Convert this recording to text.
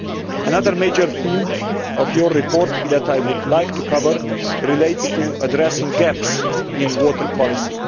Another major theme of your report that I would like to cover relates to addressing gaps in water policy.